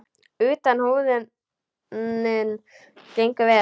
Utan húðunin gengur vel.